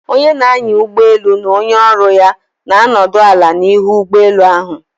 Onye na-anya ụgbọelu na onye ọrụ ya na-anọdụ ala n'ihu ụgbọ elu ahụ.